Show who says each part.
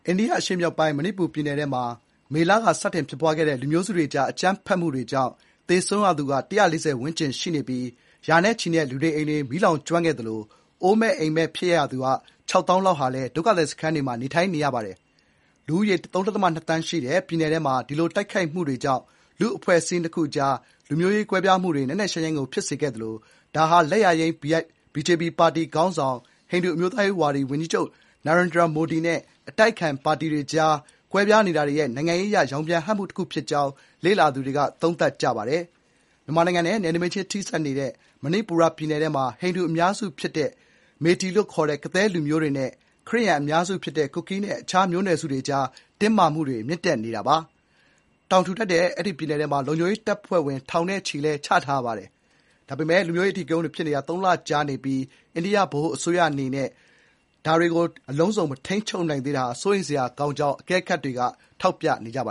Speaker 1: ိန္ဒိယအရှေ့မြောက်ပိုင်း မဏိပူပြည်နယ်ထဲမှာ မေလက စတင်ဖြစ်ပွားခဲ့တဲ့ လူမျိုးစုတွေကြား အကြမ်းဖက်မှုတွေကြောင့်သေဆုံးရသူက ၁၄၀ ဝန်းကျင် ရှိနေပြီး ရာနဲ့ချီတဲ့လူနေအိမ်တွေ မီးလောင်ကျွမ်းခဲ့သလို အိုးမဲ့အိမ်မဲ့ဖြစ်ခဲ့ရသူ ၆၀,၀၀၀ လောက်ဟာလည်း ဒုက္ခသည်စခန်းတွေမှာ နေထိုင်နေရပါတယ်။ လူဦးရေ ၃ ဒသမ ၂ သန်းရှိတဲ့ ပြည်နယ်ထဲမှာ ဒီလို တိုက်ခိုက်မှုတွေကြောင့် လူ့အဖွဲ့အစည်းနှစ်ခုကြားမှာ လူမျိုးရေးကွဲပြားမှုတွေ နက်နက်ရှိုင်းရှိုင်းကို ဖြစ်စေခဲ့သလို ဒါဟာ လက်ယာယိမ်း BJP ပါတီခေါင်းဆောင် ဟိန္ဒူ အမျိုးသားရေးဝါဒီ ၀န်ကြီးချုပ် နာရင်ဒြာမိုဒီ (Narendra Modi) နဲ့ အတိုက်အခံပါတီတွေကြား ကွဲပြားနေတာတွေရဲ့ နိုင်ငံရေးအရ ရောင်ပြန်ဟပ်မှုတခု ဖြစ်ကြောင်း လေ့လာသူတွေက သုံးသပ်ကြပါတယ်။ မြန်မာနိုင်ငံနဲ့ နယ်နိမိတ်ချင်းထိစပ်နေတဲ့ မဏိပူပြည်နယ်မှာ ဟိန္ဒူအများစု ဖြစ်ကြတဲ့ Meitei လို့လည်းခေါ်တဲ့ ကသည်းလူမျိုးနဲ့ တခြား ခရစ်ယာန်အများစုဖြစ်တဲ့ကူကီးနဲ့ အခြား မျိုးနွယ်စုတွေကြား တင်းမာမှုတွေမြင့်တက်နေတာပါ။ တောင်ထူထပ်တဲ့ အဲဒီ ပြည်နယ်ထဲမှာ လုံခြုံရေးတပ်ဖွဲ့ဝင် ထောင်နဲ့ချီ ချထားရပါတယ်။ ဒါပေမယ့် လူမျိုးရေး အဓိကရုဏ်းတွေ ဖြစ်နေတာ (၃) လ ကြာနေပြီး အိန္ဒိယ ဗဟိုအစိုးရနဲ့ ပြည်နယ်အစိုးရ နှစ်ခုစလုံးက အခြေအနေကို အလုံးစုံ မထိန်းချုပ်နိုင်သေးတာက စိုးရိမ်စရာကောင်းကြောင်း အကဲခတ်တွေက ထောက်ပြနေကြပ